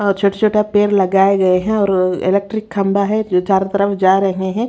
और छोटा-छोटा पैर लगाए गए हैं और इलेक्ट्रिक खंबा है जो चारों तरफ जा रहे है।